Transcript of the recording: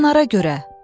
Siçanlara görə.